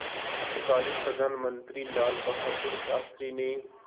तत्कालीन प्रधानमंत्री लालबहादुर शास्त्री ने